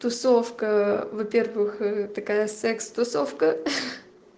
тусовка во-первых такая секс тусовка хи-хи